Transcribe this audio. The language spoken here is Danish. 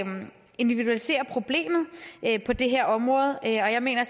individualisere problemet på det her område og jeg mener